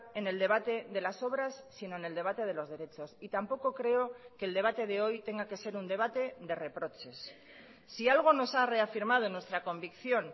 en el debate de las obras sino en el debate de los derechos y tampoco creo que el debate de hoy tenga que ser un debate de reproches si algo nos ha reafirmado en nuestra convicción